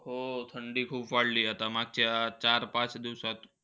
हो, थंडी खूप वाढली. आता मागच्या चार-पाच दिवसात.